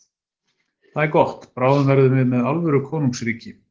Það er gott, bráðum verðum við alvöru konungsríki.